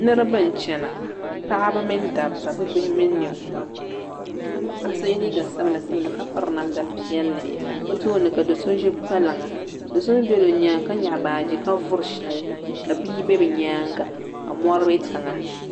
Niriba n-chana paɣiba mini dabba bibihi mini ninkura ka paɣa so ye liiga sabila sabila ka piri namda piɛlli o tooni ka do so ʒi kpalaŋa do so mi bela o nyaaŋa ka nyaɣi baaji ka vuri shɛli ka bia be bɛ nyaaŋa ka mɔri be tiŋa.